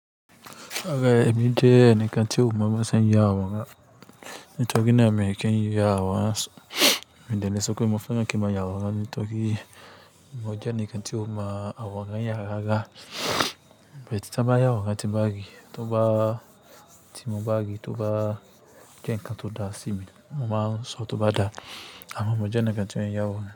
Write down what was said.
Ọ̀gá, èmi jẹ́ ẹnìkan tí ò mọ bó ṣe ń ya àwòrán, nítorí náà mi kì n ya àwòrán, n dẹ̀ lè sọpé mo fẹ́ ní kí n máa ya àwòrán nítorí mo jẹ́ ẹnìkan tí ò mọ àwòrán yà rárá bet, tóbá ya àwòrán tí n bá rí, tóbá, tí mo bá rí, tóbá jẹ́ nǹkan tó dá sí mi mo máa ń sọ tọ́ bá dá. Àmọ́ mo jẹ́ ẹnìkan tí ò ń ya àwòrán.